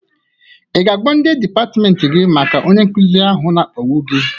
I ga-agwa ndị dịpatmenti gị maka onye nkụzị ahụ na-akpagbu gị?